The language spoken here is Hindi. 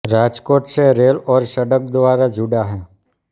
राजकोट से रेल और सड़क द्वारा जुड़ा है